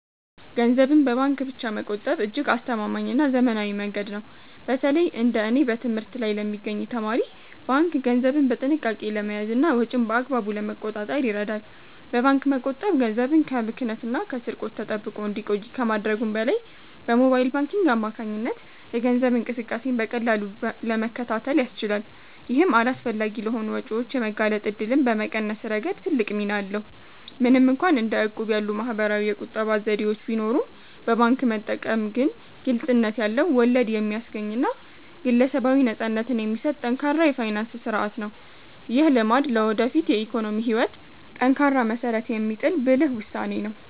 ገንዘብን በባንክ ብቻ መቆጠብ እጅግ አስተማማኝና ዘመናዊ መንገድ ነው። በተለይ እንደ እኔ በትምህርት ላይ ለሚገኝ ተማሪ፣ ባንክ ገንዘብን በጥንቃቄ ለመያዝና ወጪን በአግባቡ ለመቆጣጠር ይረዳል። በባንክ መቆጠብ ገንዘብ ከብክነትና ከስርቆት ተጠብቆ እንዲቆይ ከማድረጉም በላይ፣ በሞባይል ባንኪንግ አማካኝነት የገንዘብ እንቅስቃሴን በቀላሉ ለመከታተል ያስችላል። ይህም አላስፈላጊ ለሆኑ ወጪዎች የመጋለጥ እድልን በመቀነስ ረገድ ትልቅ ሚና አለው። ምንም እንኳን እንደ እቁብ ያሉ ማኅበራዊ የቁጠባ ዘዴዎች ቢኖሩም፣ በባንክ መጠቀም ግን ግልጽነት ያለው፣ ወለድ የሚያስገኝና ግለሰባዊ ነፃነትን የሚሰጥ ጠንካራ የፋይናንስ ሥርዓት ነው። ይህ ልማድ ለወደፊት የኢኮኖሚ ሕይወት ጠንካራ መሠረት የሚጥል ብልህ ውሳኔ ነው።